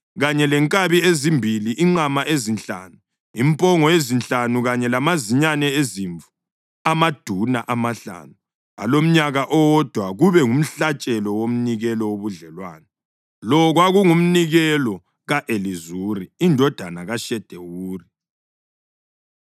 kanye lenkabi ezimbili, inqama ezinhlanu, impongo ezinhlanu kanye lamazinyane ezimvu amaduna amahlanu alomnyaka owodwa kube ngumhlatshelo womnikelo wobudlelwano. Lo kwakungumnikelo ka-Elizuri indodana kaShedewuri.